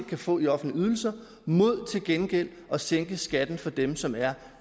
kan få i offentlige ydelser mod til gengæld at sænke skatten for dem som er